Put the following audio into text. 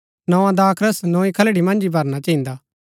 नोआ दाखरस नोई खलड़ी मन्ज ही भरना चहिन्दा